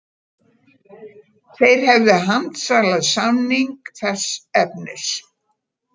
Þeir hefðu handsalað samning þess efnis